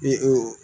Ee